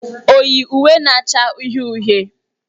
O yi uwe na-acha uhie uhie?